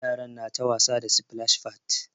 Yaran na ta wasa da splash pads.